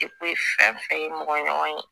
fɛn fɛn ye mɔgɔ ɲɔgɔn ye